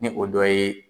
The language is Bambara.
Ni o dɔ ye